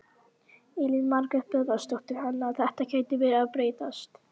Steinsteypt sundlaug byggð við Hveravík í